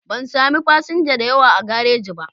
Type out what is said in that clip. Ban samu fasinja da yawa a garaji ba